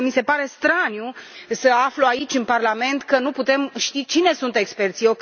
Însă mi se pare straniu să aflu aici, în Parlament, că nu putem ști cine sunt experții!